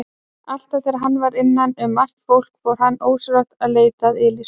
Alltaf þegar hann var innan um margt fólk fór hann ósjálfrátt að leita að Elísu.